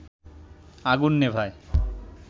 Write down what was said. আগুন নেভায়